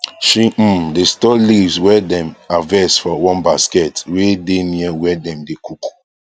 she um dae store leaves wae dem harvest for one basket wae dae near where dem dae cook